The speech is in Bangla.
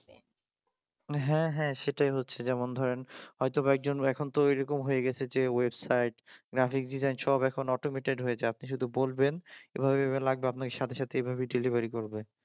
হ্যাঁ হ্যাঁ সেটাই হচ্ছে যেমন ধরেন হয়তোবা এখন তো ওই রকম হয়ে গেছে যে ওয়েব সাইট গ্রাফিক ডিজাইনিং সব একটা অটোমেটিক হয়ে গেছে আপনি বলবেন এভাবে এভাবে লাগবে আপনাকে সাথে সাথে এভাবেই ডেলিভারি করবে